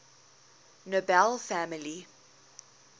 nobel family